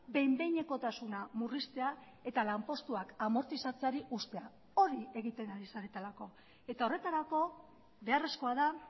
behin behinekotasuna murriztea eta lanpostuak amortizatzeari uztea hori egiten ari zaretelako eta horretarako beharrezkoa da